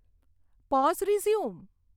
pose resume